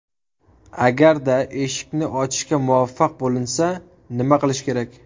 Agarda eshikni ochishga muvaffaq bo‘linsa, nima qilish kerak?